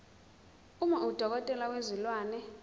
uma udokotela wezilwane